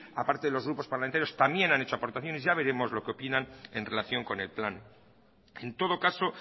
a parte de los grupos parlamentarios también han hecho aportaciones ya veremos lo que opinan en relación con el plan en todo caso